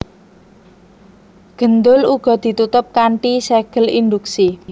Gendul uga ditutup kanthi ségel induksi